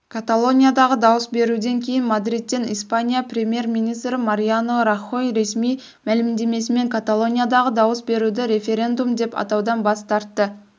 каталониядағы дауыс беруден кейін мадридтен испания премьер-министрі мариано рахой ресми мәлімдемесімен каталониядағы дауыс беруді референдум деп атаудан бас тартты